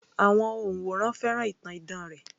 Àwọn òǹwòran fẹ́ràn ìtàn idán rẹ̀